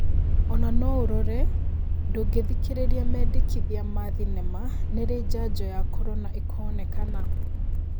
Ona noũrore: ndungĩthikĩrĩria mendekithia ma thenema, nĩrĩ njanjo ya korona ikonekana?